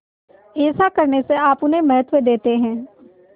ऐसा करने से आप उन्हें महत्व देते हैं